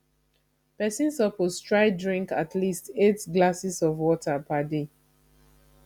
pesin suppose try drink at least eight glasses of water per day